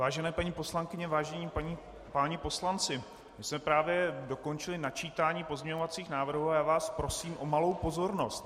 Vážené paní poslankyně, vážení páni poslanci, my jsme právě dokončili načítání pozměňovacích návrhů a já vás prosím o malou pozornost.